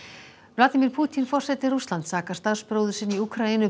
vladimír Pútín forseti Rússlands sakar starfsbróður sinn í Úkraínu